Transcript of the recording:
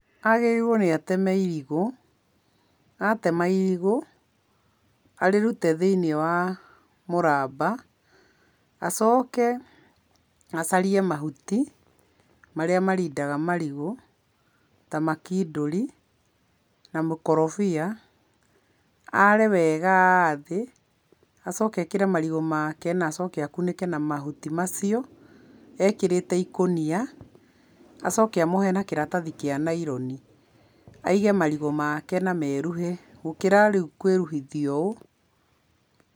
Agĩrĩirwo nĩ ateme irigũ. Atema irigũ, arĩrute thĩiniĩ wa mũramba, acoke acarie mahuti, marĩa marindaga marigũ ta makindũri na mũkorobia. Are wega thĩ acoke ekĩre marigũ make na acoke akunĩke na mahuti macio ekĩrĩte ikũnia, acoke amohe na kĩrathia kĩa naironi. Aige marigũ make na meruhe gũkĩra rĩu kwĩruhithuia ũũ.